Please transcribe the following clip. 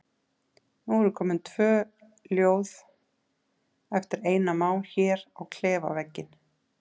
Nú eru komin tvö ljóð eftir Einar Má hér á klefavegginn.